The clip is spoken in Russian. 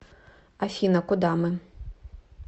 афина куда мы